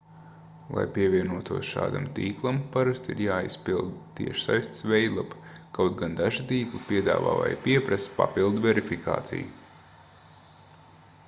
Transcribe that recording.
lai pievienotos šādam tīklam parasti ir jāaizpilda tiešsaistes veidlapa kaut gan daži tīkli piedāvā vai pieprasa papildu verifikāciju